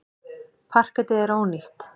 Parketið er ónýtt.